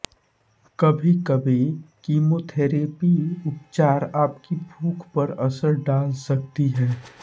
कभीकभी कीमोथेरेपी उपचार आपकी भूख पर असर डाल सकती है